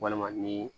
Walima ni